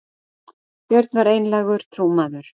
Björn var einlægur trúmaður.